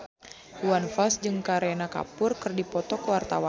Iwan Fals jeung Kareena Kapoor keur dipoto ku wartawan